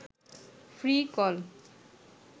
free call